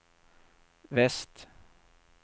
väst